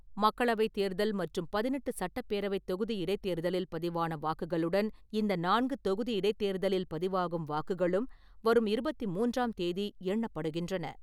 மக்களவை தேர்தல் மற்றும் பதினெட்டு சட்டப்பேரவை தொகுதி இடைத்தேர்தலில் பதிவான வாக்குகளுடன் இந்த நான்கு தொகுதி இடைத்தேர்தலில் பதிவாகும் வாக்குகளும் வரும் இருபத்தி மூன்றாம் தேதி எண்ணப்படுகின்றன.